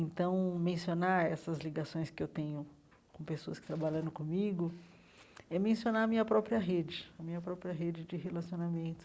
Então, mencionar essas ligações que eu tenho com pessoas que trabalharam comigo é mencionar a minha própria rede, a minha própria rede de relacionamento.